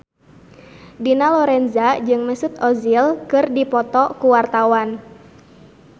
Dina Lorenza jeung Mesut Ozil keur dipoto ku wartawan